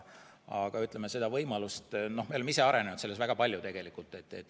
Me oleme ise selles tegelikult väga palju arenenud.